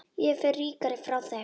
Ég fer ríkari frá þeim.